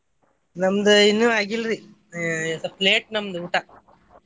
ನಮ್ದ್ ಇನ್ನು ಆಗಿಲ್ರೀ ಏ ಸ್ವಲ್ಪ late ನಮ್ದ್ ಊಟ.